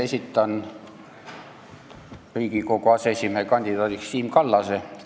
Esitan Riigikogu aseesimehe kandidaadiks Siim Kallase.